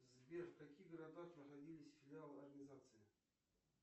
сбер в каких городах находились филиалы организации